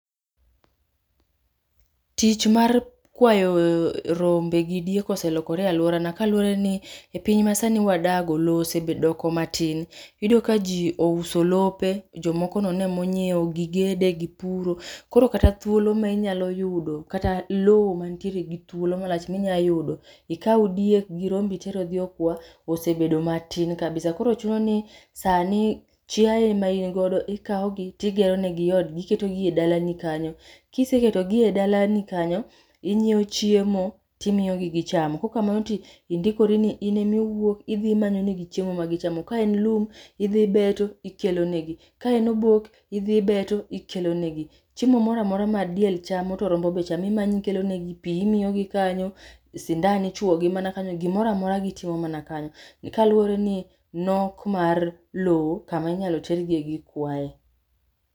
Tich mar kwayo rombe gi diek ose lokore e aluorana kaluworeni ni epiny masani wadago lowo osebe doko matin. Iyudo kaji ose uso lope jomo nono ema onyiewo gigede gipuro koro kata thuolo ma inyalo yudo kata lowo mantiere gi thuolo malach minyalo yudo ikaw diek gi rombe iter odhi okwa osebedo matin kabisa koro chuno ni sani chiaye ma in godo ikawogi, to igeronigi odgi iketogi e dalani kanyo. Ka iseketo gi e dalani kanyo inyiewo chiemo to imiyogi gichamo kaok kamano to indikori ni in ema iwuok idhi imanyonegi chiemo ma gichamo. Ka en lum idhi ibetonegi ngichamo, ka en oboke idhi ibeto ikelonegi chiemo moro amora ma diel chamo to rombo be chamo imanyo ikelonegi pi imiyogi kanyo, sindan ichuo gi gimoro amora gitimo mana kanyo kaluwore gi nok mar lowo kama inyalo ter giye gikwaye.